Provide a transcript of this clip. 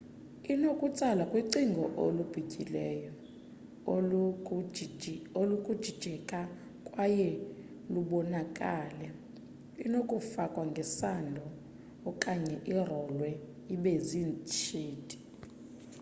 inokutsalwa kwicingo olubityileyo olunokujijeka kwaye lubonakale inokufakwa ngesando okanye irolwe ibe ziishiti